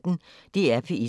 DR P1